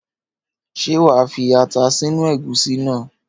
Ṣé wa fi ata sínú ẹ̀gúsí náà?